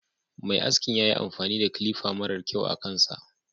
Mai askin yayi amfani da kilifa mara kyau akan sa.